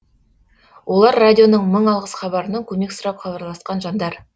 олар радионың мың алғыс хабарынан көмек сұрап хабарласқан жандар